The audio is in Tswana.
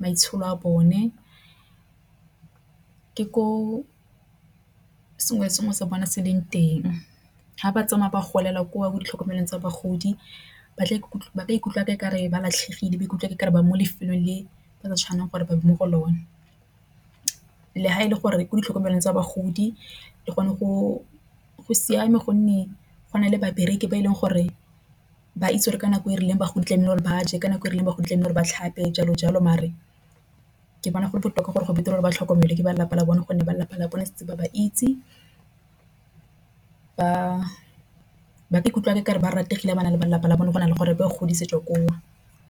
maitsholo a bone. Ke ko sengwe le sengwe sa bone se leng teng ha ba tsamaya ba golela kwa mo ditlhokomelo tsa bagodi ba tla ikutlwa ke kare ba latlhegile. Ba ikutlwa ke kare ba mo lefelong le ba ka tshwanelang gore ba ba mo go lone. Le ha e le gore ko ditlhokomelo tsa bagodi le gone go siame, gonne go na le babereki ba e leng gore ba itse gore ka nako e rileng ba gotlamela gore ba je ka nako e rileng. Ba go tlamehile ba tlhape jalo jalo mare ke bona gole botoka gore go betere ba tlhokomelwa ke ba lapa la bone gonne ba lelapa la bone setse ba ba itse. Ba ikutlwa okare ba rutegile ga ba na le balelapa la bone gona le gore o godisitswe gore.